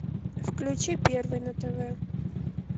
включи первый на тв